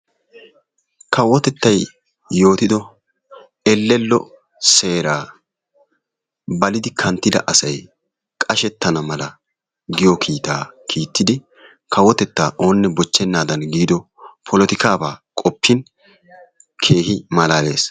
Kawotettay yootiddo ellello seeraa balidi kanttida asay qashettana mala giyo kiitaa kiittidi kawotettaa oonne bochchenaadan giido polottikkaabaa qoppin keehi malaalees.